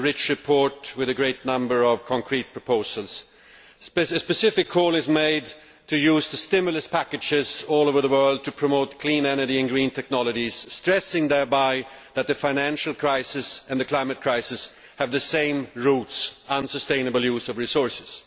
This is a rich report with a great number of concrete proposals. A specific call is made to use the stimulus packages all over the world to promote clean energy and green technologies, stressing thereby that the financial crisis and the climate crisis have the same roots unsustainable use of resources.